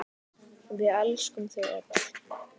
Við elskum þau öll.